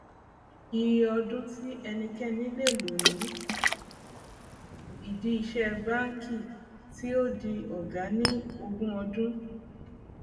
ìyè ọdún tí ẹnikẹni lè lò ní ìdí ìṣe banki tí ó di ọgá ni ogún ọdún